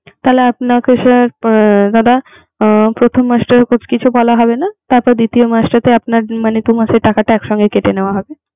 তাহলে আপনার কাছে দাদা প্রথম মাস থেকে কিছু বলা হবে না। তারপর দ্বিতীয় মাস থেকে আপনার দুটো মাসের টাকাটা এক সঙ্গে কেটে নেয়া হবে